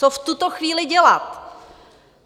Co v tuto chvíli dělat?